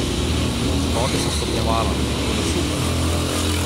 Skoke sem stopnjevala, tako da super!